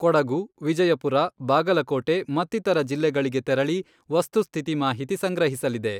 ಕೊಡಗು, ವಿಜಯಪುರ, ಬಾಗಲಕೋಟೆ ಮತ್ತಿತರ ಜಿಲ್ಲೆಗಳಿಗೆ ತೆರಳಿ ವಸ್ತುಸ್ಥಿತಿ ಮಾಹಿತಿ ಸಂಗ್ರಹಿಸಲಿದೆ.